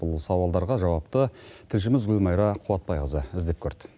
бұл сауалдарға жауапты тілшіміз гүлмайра қуатбайқызы іздеп көрді